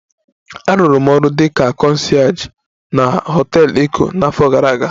Arụrụ m ọrụ dị ka concierge na họtel Eko n'afọ gara aga